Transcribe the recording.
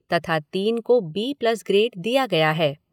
तथा तीन को बी प्लस ग्रेड दिया गया है।